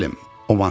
Nə bilim.